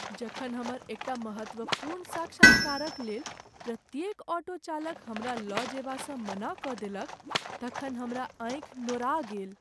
जखन हमर एकटा महत्वपूर्ण साक्षात्कारक लेल प्रत्येक ऑटो चालक हमरा लऽ जएबासँ मना कऽ देलक तखन हमरा आँखि नोरा गेल।